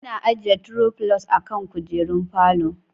Ana ajjiye tiro filos a kan kujerun falo